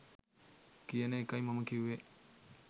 කියන එකයි මම කිව්වෙ